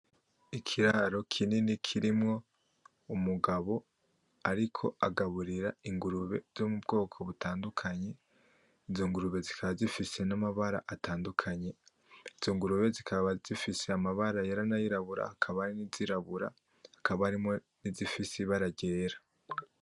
Ikiraro kinini kirimwo umugabo ariko agaburira ingurube zo mu bwoko butandukanye. Izo ngurube zikaba zifise n'amabara atandukanye . Izo ngurube zikaba zifise amabara yera n' ayirabura. Hakaba harimwo izirabura, hakaba harimwo n'izifise ibara ryera.